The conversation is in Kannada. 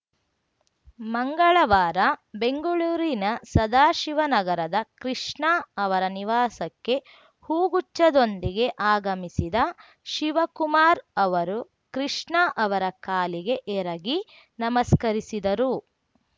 ಮಂಗಳವಾರ ಬೆಂಗಳೂರಿನ ಸದಾಶಿವನಗರದ ಕೃಷ್ಣ ಅವರ ನಿವಾಸಕ್ಕೆ ಹೂಗುಚ್ಛದೊಂದಿಗೆ ಆಗಮಿಸಿದ ಶಿವಕುಮಾರ್‌ ಅವರು ಕೃಷ್ಣ ಅವರ ಕಾಲಿಗೆ ಎರಗಿ ನಮಸ್ಕರಿಸಿದರು